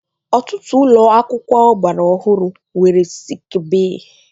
Ọtụtụ ụlọ akwụkwọ ọgbara ọhụrụ nwere sik bee